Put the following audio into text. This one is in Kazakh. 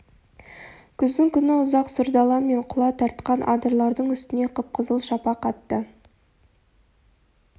күздің күні ұзақ сұр дала мен құла тартқан адырлардың үстіне қып-қызыл шапақ атты